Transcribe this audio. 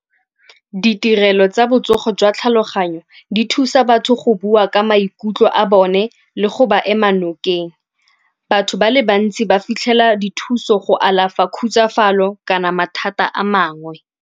Ditirelo tsa botsogo jwa tlhaloganyo di thusa batho go bua ka maikutlo a bone le go ba ema nokeng. Batho ba le bantsi ba fitlhela dithuso go alafa khutsafalo kana mathata a mangwe.